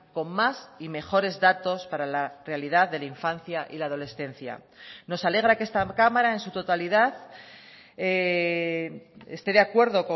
con más y mejores datos para la realidad de la infancia y la adolescencia nos alegra que esta cámara en su totalidad esté de acuerdo